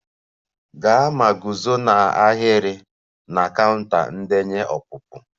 Gaa ma guzo n'ahịrị na counter ndenye ọpụpụ!